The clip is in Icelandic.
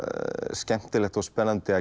skemmtilegt og spennandi að